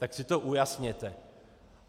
Tak si to ujasněte.